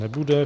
Nebude.